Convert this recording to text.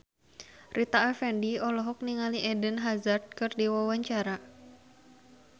Rita Effendy olohok ningali Eden Hazard keur diwawancara